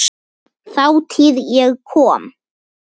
Þátíð- ég kom